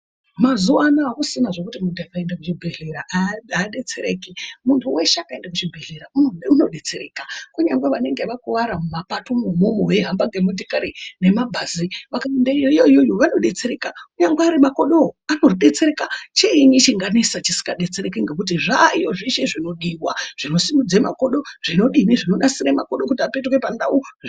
Mazuwanaya akusisina zvekuti munhu akaenda kuzvibhedhlera adetsereki muntu weshe akaenda kuchibhedhlera unodetsereka kunyangwe vanenge vakuwara mumapatomwo unwomwo veihamba ngemotokari ngemabhazi vakaenda iyoyo iyoyo vanodetsereka kunyangwe Ari makodowo anodetsereka chiini chinganesa chisingadetsereki ngekuti zvaayo zveshe zvinodiwa ,zvinosimudze makodo zvinodini zvinonasire makodo kuti apetuke pandau.